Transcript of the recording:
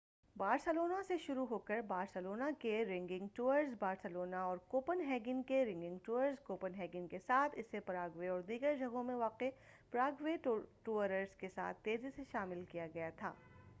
Barcelona سے شروع ہوکر بارسلونا کے رننگ ٹورز بارسلونا اور کوپن ہیگن کے رننگ ٹورز کوپن ہیگن کے ساتھ اسے پراگوے اور دیگر جگہوں میں واقع پراگوے ٹورز کے ساتھ تیزی سے شامل کیا گیا تھا